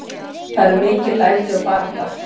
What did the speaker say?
Það eru mikil læti og barátta.